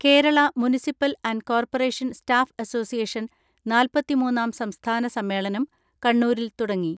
Kerala municipal and corporation staff association നാൽപത്തിമൂന്നാം സംസ്ഥാന സമ്മേളനം കണ്ണൂരിൽ തുടങ്ങി.